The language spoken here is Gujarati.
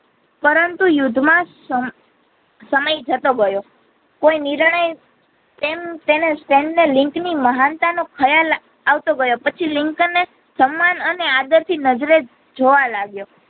પરંતુ યુદ્ધ માં સમ સમય જતો ગયો કોઈ નિર્ણય તેમ તેણે સેમને લિંક ની મહાનતા નો ખ્યાલ આવતો ગયો પછી લિંકન ને સમાન અને આદર નજરે જોવા લાગીયો